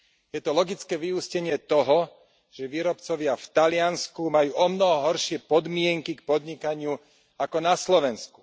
Je to logické vyústenie toho, že výrobcovia v Taliansku majú omnoho horšie podmienky k podnikaniu ako na Slovensku.